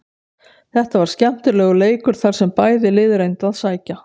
Þetta var skemmtilegur leikur þar sem bæði lið reyndu að sækja.